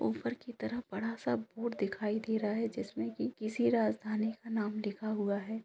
ऊपर की तरफ बड़ा सा बोर्ड दिखाई दे रहा हैं जिसमें की किसी राजधानी का नाम लिखा हुआ हैं।